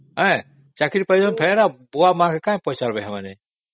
ହଁ ଚାକିରୀ ପାଇଗଲେ ଆମକୁ କାହିଁ ପଚାରିବେ ସେମାନେ